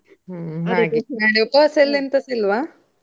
ಹ್ಮ್ ಹಾಗೆ, ನಾಳೆ ಉಪವಾಸ ಇಲ್ವಾ ಎಂತಸ ಇಲ್ವಾ?